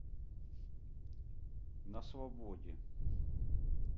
на свободе